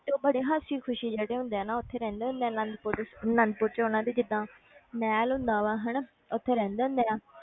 ਤੇ ਉਹ ਬੜੇ ਹਸੀ ਖ਼ੁਸ਼ੀ ਜਿਹੜੇ ਹੁੰਦੇ ਆ ਨਾ ਉੱਥੇ ਰਹਿੰਦੇ ਹੁੰਦੇ ਆ ਅਨੰਦਪੁਰ ਅਨੰਦਪੁਰ 'ਚ ਉਹਨਾਂ ਦੀ ਜਿੱਦਾਂ ਮਹਿਲ ਹੁੰਦਾ ਵਾ ਹਨਾ, ਉੱਥੇ ਰਹਿੰਦੇ ਹੁੰਦੇ ਆ,